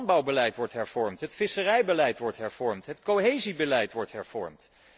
Het landbouwbeleid wordt hervormd, het visserijbeleid wordt hervormd, het cohesiebeleid wordt hervormd.